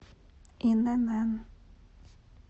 инн